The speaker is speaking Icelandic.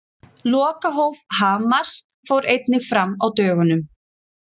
Lokahóf Hamars fór einnig fram á dögunum.